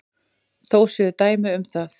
Þó séu dæmi um það.